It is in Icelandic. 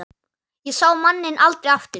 Ég sá manninn aldrei aftur.